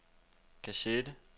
kassette